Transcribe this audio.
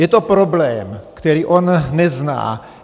Je to problém, který on nezná.